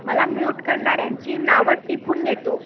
मला म्यूट करणाऱ्याची नावं टिपून घेतो